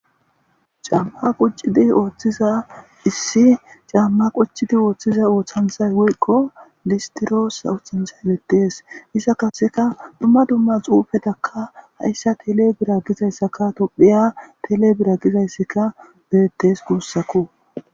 caamma quccidi ooththiza issi caamma qucidi ooththiza ooththanthay woyko listiroosa osanchchay beettees isa kaseka dumma dumma xuufetakka hayssa tele bira gizayssaka tophiya tele bira gizayssaka beettes guussakko